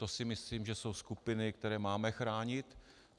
To si myslím, že jsou skupiny, které máme chránit.